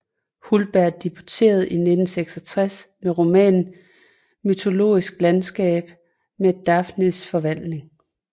Hultberg debuterede i 1966 med romanen Mytologisk landskab med Daphnes forvandling